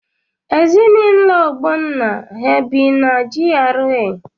Ezinaụlọ Ogbonna ha bi na GRA?